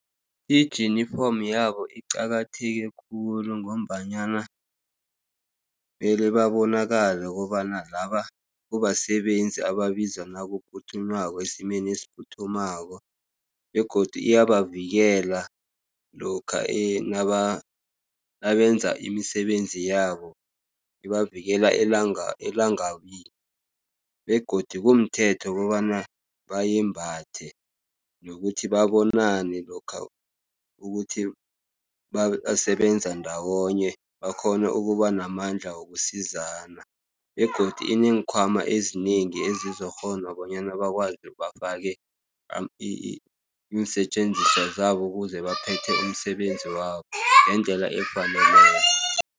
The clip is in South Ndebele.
Ijinifomo yabo iqakatheke khulu, ngombanyana mele babonakale kobana laba kubasebenzi ababizwa esimeni esiphuthumako, begodu iyabavikela lokha nabenza imisebenzi yabo. Ibavikela elangabini, begodu kumthetho kobana bayembhathe, nokuthi babonane lokha ukuthi basebenza ndawonye, bakghone ukubanamandla wokusizana, begodi ineenkhwama ezinengi ezizokghona bonyana bakwazi bafake iinsetjenziswa zabo, ukuze baphethe umsebenzi wabo ngendlela efaneleko.